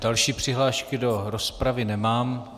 Další přihlášky do rozpravy nemám.